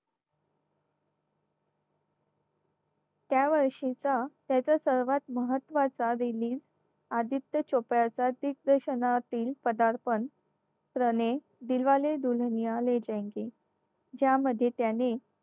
त्यावर्षीचा त्याचा सर्वात महत्त्वाचा release आदित्य चोप्रा चा दिग्दर्शनातिला पदार्पण त्याने दिलवाले दुल्हनिया ले जायेंगे ज्यामध्ये त्याने